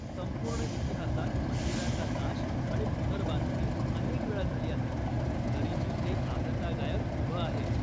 संपूर्ण इतिहासात मंदिराचा नाश आणि पुनर्बांधणी अनेक वेळा झाली आहे, तरीही ते आजतागायत उभं आहे!